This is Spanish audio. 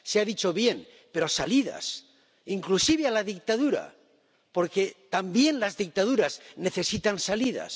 Se ha dicho bien, pero salidas, inclusive a la dictadura, porque también las dictaduras necesitan salidas.